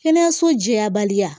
Kɛnɛyaso jɛya baliya